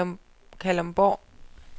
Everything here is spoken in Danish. Kalundborg